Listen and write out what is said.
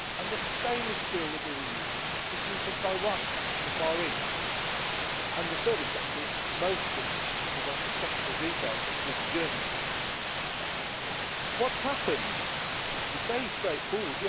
The stainless steel that we were using was coming from Taiwan and the Far East and the service centres mostly the ones with technical details moved to Germany. What has happened is very straightforward.